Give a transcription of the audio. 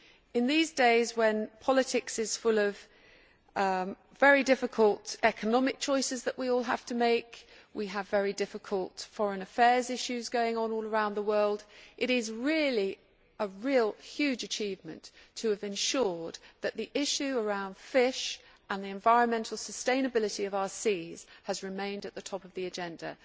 In these days when politics is full of very difficult economic choices that we all have to make, and we have very difficult foreign affairs issues going on all around the world, it is a huge achievement to have ensured that the issue around fish and the environmental sustainability of our seas has remained at the top of the agenda.